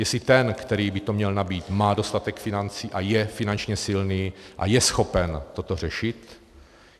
Jestli ten, který by to měl nabýt, má dostatek financí a je finančně silný a je schopen toto řešit.